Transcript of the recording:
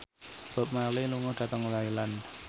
Bob Marley lunga dhateng Thailand